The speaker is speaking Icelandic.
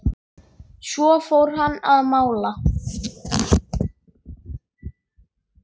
Svo fór hann að mála.